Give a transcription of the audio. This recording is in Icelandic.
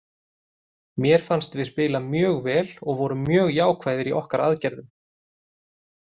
Mér fannst við spila mjög vel og vorum mjög jákvæðir í okkar aðgerðum.